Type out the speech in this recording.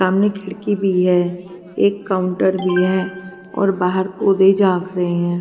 सामने खिड़की भी है एक काउंटर भी है और बाहर पौधे जाग रहे हैं.